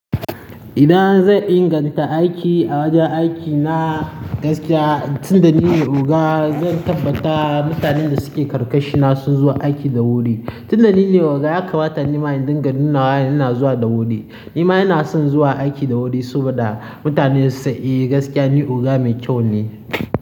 Idan zan inganta aiki a wajen aikina gaskiya tunda nine oga zan tabbata mutanen da suke karkashina sun zo aiki da wuri. Tunda nine oga ya kamata ni ma inda ganin nawa ina zuwa da wuri. Ni ma ina son zuwa aiki da wuri saboda mutane su san eh gaskiya ni oga mai kyau ne.